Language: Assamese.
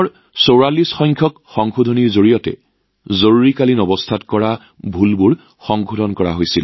যিহেতু ৪৪তম সংশোধনীৰ জৰিয়তে জৰুৰীকালীন সময়ত কৰা ভুলসমূহ সঠিকভাৱে শুধৰোৱা হৈছিল